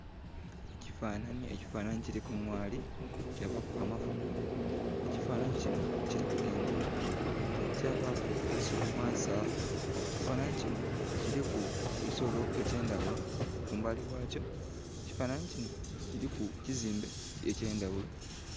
Ekifananhi, ekifananhi kiriku ngaali kyabaku amafumo, ekifananhi kinho kirku engoma, kyabaku eisubi ghansi agho. Ekifananhi kinho kiriku ebisolo ekyendhaghulo kumbali ghakyo, ekifananhi kinho kiri ku kizimbe ekye ndhaghulo.